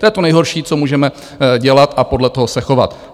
To je to nejhorší, co můžeme dělat a podle toho se chovat.